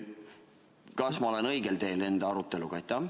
Kas ma olen õigel teel enda aruteluga?